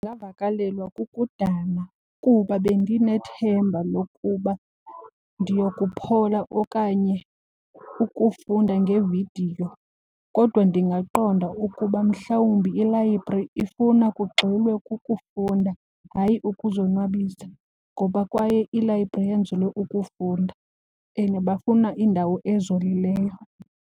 Ndingavakalelwa kukudana kuba bendinethemba lokuba ndiyokuphola okanye ukufunda ngevidiyo. Kodwa ndingaqonda ukuba mhlawumbi ilayibhri ifuna kugxilwe kukufunda hayi ukuzonwabisa ngoba kwaye ilayibhri yenzelwe ukufunda and bafuna indawo ezolileyo.